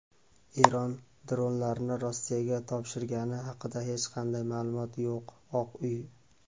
Eron dronlarni Rossiyaga topshirgani haqida hech qanday ma’lumot yo‘q – Oq uy.